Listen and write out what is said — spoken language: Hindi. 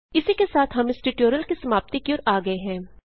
इसी के साथ हम इस ट्यूटोरियल की समाप्ति की ओर आ गये हैं